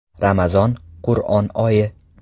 Ramazon– Qur’on oyi!